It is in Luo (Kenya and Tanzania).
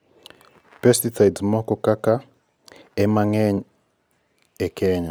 biepesicides moko kaka (Azadirachta indikaema ) ema ng'eny e kenya